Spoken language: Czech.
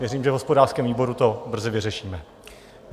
Věřím, že v hospodářském výboru to brzy vyřešíme.